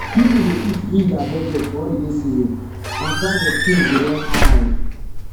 people dey quick reach their budget for holiday season as price of things go don high